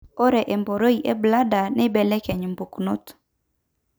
ore emborei embladda neibelekeny matokeo